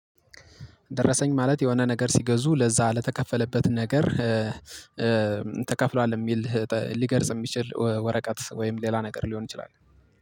ደረሰኝ ማለት የሆነ ነገር ሲገዙ ለዛ ለተከፈለበት ነገር ተከፍሏል የሚል ሊገልጽ የሚችል ወረቀት ወይም ሌላ ነገር ሊሆን ይችላል